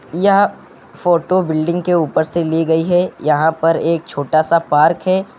यह photo building के ऊपर से ली गई है यहां पर एक छोटा सा पार्क है।